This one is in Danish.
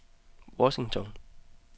Washington